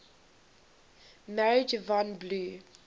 married yvonne blue